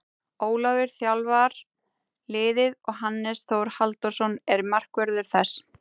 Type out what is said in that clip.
Ólafur þjálfar liðið og Hannes Þór Halldórsson er markvörður þess.